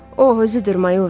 O, özüdür, mayor.